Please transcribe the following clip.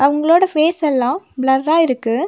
இவங்களோட ஃபேஸ் எல்லா பிளர்ரா இருக்கு.